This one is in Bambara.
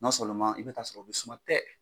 i bɛ taa sɔrɔ a bɛ suma tɛ